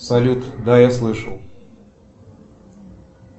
салют да я слышал